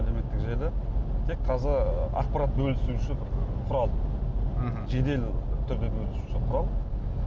әлеуметтік желі тек таза ақпарат бөлісу үшін құрал мхм жедел түрде бөлісу үшін құрал